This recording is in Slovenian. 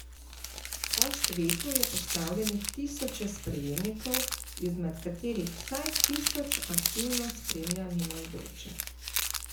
Po svetu je postavljenih tisoče sprejemnikov, izmed katerih vsaj tisoč aktivno spremlja mimoidoče.